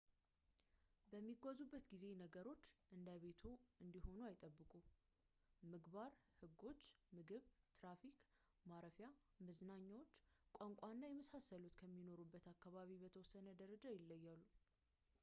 በሚጓዙበት ጊዜ ነገሮች እንደ ቤትዎ እንዲሆኑ አይጠብቁ ምግባር ሕጎች ምግብ ትራፊክ ማረፊያ መመዘኛዎች ቋንቋ እና የመሳሰሉት ከሚኖሩበት አካባቢ በተወሰነ ደረጃ ይለያያሉ